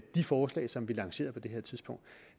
de forslag som vi lancerede på det tidspunkt